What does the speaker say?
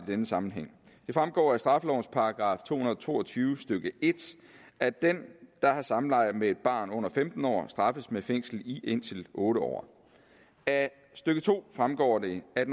denne sammenhæng det fremgår af straffelovens § to hundrede og to og tyve stykke en at den der har samleje med et barn under femten år straffes med fængsel i indtil otte år af stykke to fremgår det at